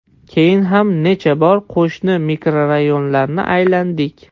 Keyin ham necha bor qo‘shni mikrorayonlarni aylandik.